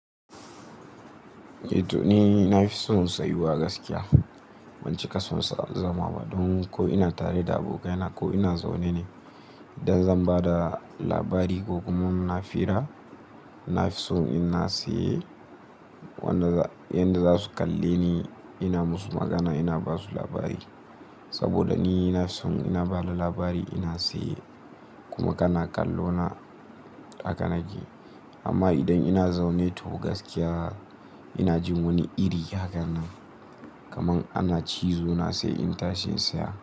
Eh to ni na fi son sayuwa gaskiya. Ban cika son zama ba don ko ina tare da abokaina ko ina zaune ne idan zan ba da labari ko kuma ina hira, na fi son ina tsaye wadda yadda za su kalle ni ina musu magana ina ba su labari. Saboda ni na fi son ina bada labari ina tsaye kuma kana kallo na hakan aji. Amma idan ina zaune to gaskiya ina jin wani iri hakan nan kaman ana cizo na sai in tashi in tsaya.